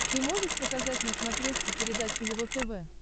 ты можешь показать на смотрешке передачу его тв